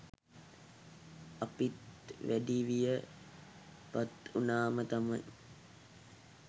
අපිත් වැඩිවිය පත්වුනාම තමයි